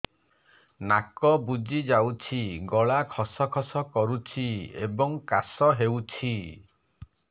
ନାକ ବୁଜି ଯାଉଛି ଗଳା ଖସ ଖସ କରୁଛି ଏବଂ କାଶ ହେଉଛି